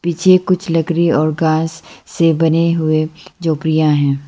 पीछे कुछ लकड़ी और घास से बने हुए झोपड़ियां हैं।